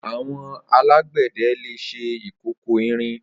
Awọn àlágbẹdẹ lé ṣé ikókó ìrín